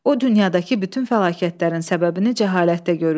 O dünyadakı bütün fəlakətlərin səbəbini cəhalətdə görürdü.